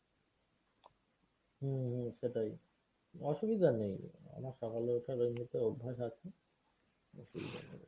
হম হম সেটাই অসুবিধা নেই আমার সকালে ওঠার এমনিতেও অভ্যাস আছে অসুবিধা নেই।